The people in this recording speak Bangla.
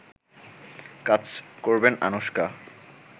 কাজ করবেন অনুশকা